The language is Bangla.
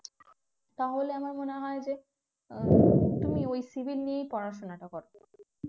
তাহলে আমার মনে হয় যে তুমি ওই civil নিয়েই পড়াশোনাটা করো